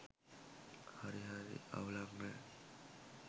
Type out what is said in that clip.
හරි හරි අව්ලක් නෑ.